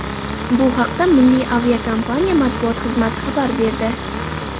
Bu haqda Milliy aviakompaniya matbuot xizmati xabar berdi.